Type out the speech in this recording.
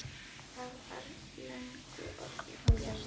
Það var löngu orðið bjart.